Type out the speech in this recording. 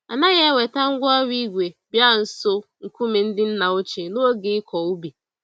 Anaghị eweta ngwá ọrụ ígwè bịa nso nkume ndị nna ochie n'oge ịkọ ubi.